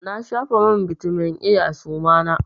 Na shafa man bitamin A a suma na.